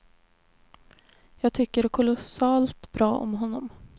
Jag tycker kolossalt bra om honom.